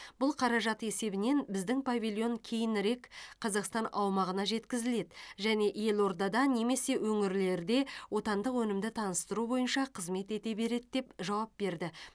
бұл қаражат есебінен біздің павильон кейінірек қазақстан аумағына жеткізіледі және елордада немесе өңірлерде отандық өнімді таныстыру бойынша қызмет ете береді деп жауап берді